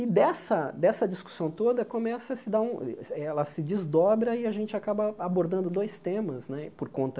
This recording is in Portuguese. E dessa dessa discussão toda, começa a se dar um eh ela se desdobra e a gente acaba abordando dois temas né, por conta